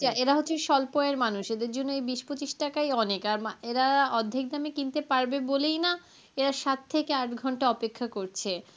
এই পঁচিশ টাকার চাল এরাও কি স্বল্প আয়ের মানুষ, এদের জন্য বিশ পঁচিশ টাকাই অনেক. এনারা অর্ধেক দামে কিনতে পারবে বলেই না এরা সাত থেকে আট ঘন্টা অপেক্ষা করছে.